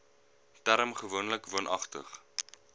term gewoonlik woonagtig